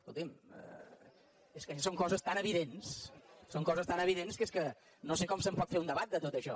escolti’m és que són coses tan evidents són coses tan evidents que és que no sé com se’n pot fer un debat de tot això